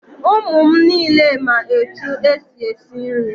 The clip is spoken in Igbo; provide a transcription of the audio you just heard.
Ụmụ m niile ma etu e si esi nri.